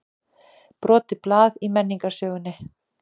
Brotið blað í menningarsögunni